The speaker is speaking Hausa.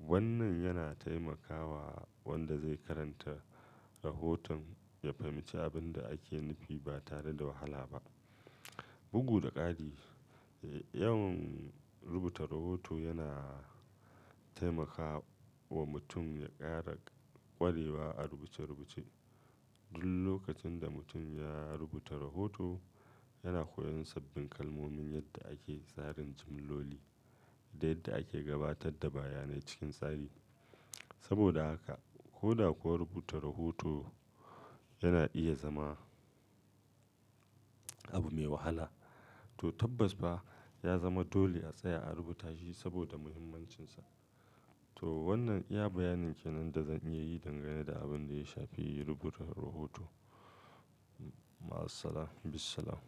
Wannan yana taimakawa wanda zai karanta rahoton ya fahimci abin da ake nufi ba tare da wahala ba. Bugu da ƙari, yawan rubuta rahoto yana taimakawa mutum ya ƙara ƙwarewa a rubuce-rubuce. Duk lokacin da mutum ya rubuta rahoto, yana koyon sabbin kalmomin, yadda ake tsarin jimloli da yadda ake gabatar da bayanai cikin tsari. Saboda haka, ko da kuwa rubuta rahoto yana iya zama abu mai wahala, to tabbas fa ya zama dole a tsaya a rubuta shi saboda muhimmancinsa. To wannan iya bayanin kenan da zan iya yi dangane da abin da ya shafi rubuta rahoto. Ma'assalam, bissalam.